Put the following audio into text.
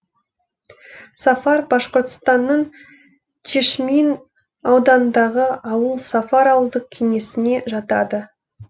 сафар башқұртстанның чишмин ауданындағы ауыл сафар ауылдық кеңесіне жатады